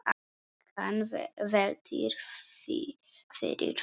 Hann veltir því fyrir sér.